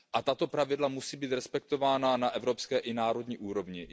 Tato pravidla musí být respektována na evropské i národní úrovni.